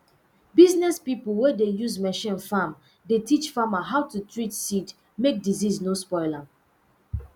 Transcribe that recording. business pipo wey dey use machine farm dey teach farmer how to treat seed mek disease no spoil am